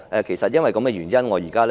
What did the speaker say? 是否因為這原因呢？